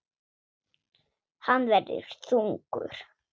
Hann verður þungur.